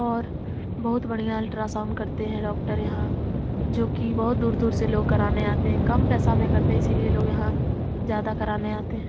और बहोत बढ़िया अल्ट्रासाउंड करते हैं डॉक्टर यहाँ जो कि बहोत दूर-दूर से लोग कराने आते हैं कम पैसा में करते है इसीलिए लोग यहाँ ज्यादा कराने आते हैं।